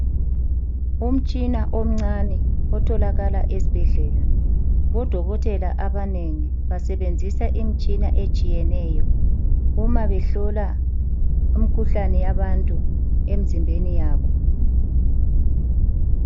Umtshina omncane otholakala esibhedlela bodokotela abanengi basebenzisa imtshina etshiyeneyo uma behlola imkhuhlane yabantu emzimbeni yabo.